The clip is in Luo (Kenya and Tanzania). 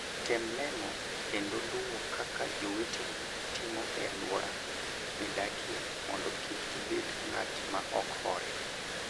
Tem neno kendo luwo kaka joweteni timo e alwora midakie mondo kik ibed ng'at ma ok hore.